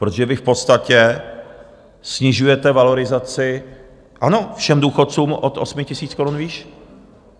Protože vy v podstatě snižujete valorizaci, ano, všem důchodcům od 8 000 korun výš.